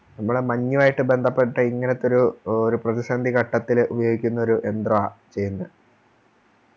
ഇവിടെ മഞ്ഞുവായിട്ട് ബന്ധപ്പെട്ട് ഇങ്ങനത്തെയൊരു പ്രതിസന്ധി ഘട്ടത്തില് ഉപയോഗിക്കുന്നൊരു യന്ത്രവ ചെയ്യുന്നേ